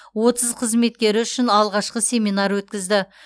отыз қызметкері үшін алғашқы семинар өткізді